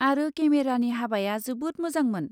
आरो केमेरानि हाबाया जोबोद मोजांमोन।